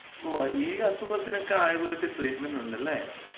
ഓ, ഈ ആസുഖത്തിനൊക്കെ ആയുർവേദത്തി ട്രീറ്റ്മെന്‍റുണ്ടല്ലേ?